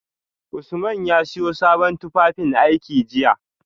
Usman ya siyo sabon tufafinaiki jiya